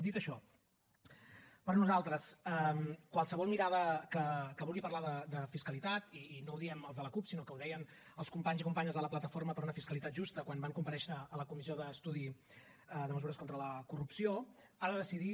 dit això per nosaltres qualsevol mirada que vulgui parlar de fiscalitat i no ho diem els de la cup sinó que ho deien els companys i companyes de la plataforma per una fiscalitat justa quan van comparèixer a la comissió d’estudi de mesures contra la corrupció ha de decidir